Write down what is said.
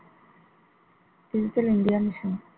digital india mission